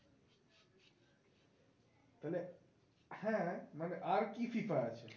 তাহলে হ্যাঁ মানে আর কি FIFA আছে?